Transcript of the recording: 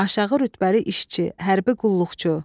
Aşağı rütbəli işçi, hərbi qulluqçu.